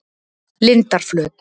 Lindarflöt